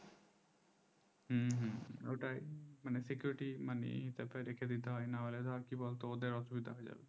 হু হু ওটাই মানে security money রেখে দিতে হয় না হলে ধর কি বলতো এদের অসুবিধা